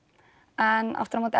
en aftur á móti